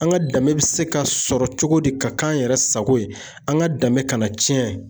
An ka danbe be se ka sɔrɔ cogo di, ka k'an yɛrɛ sago ye ,an ka danbe kana tiɲɛ.